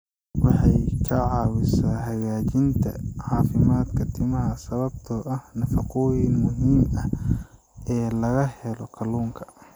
Waxay ka caawisaa hagaajinta caafimaadka timaha sababtoo ah nafaqooyinka muhiimka ah ee laga helo kalluunka.